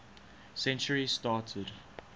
century started